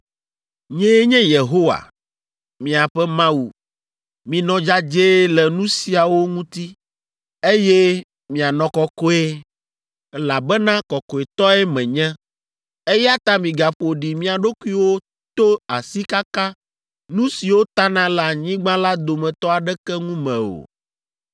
Nyee nye Yehowa, miaƒe Mawu. Minɔ dzadzɛe le nu siawo ŋuti, eye mianɔ kɔkɔe, elabena kɔkɔetɔe menye. Eya ta migaƒo ɖi mia ɖokuiwo to asikaka nu siwo tana le anyigba la dometɔ aɖeke ŋu me o.